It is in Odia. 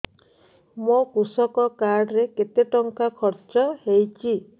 ମୋ କୃଷକ କାର୍ଡ ରେ କେତେ ଟଙ୍କା ଖର୍ଚ୍ଚ ହେଇଚି